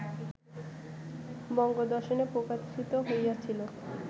বঙ্গদর্শনে প্রকাশিত হইয়াছিল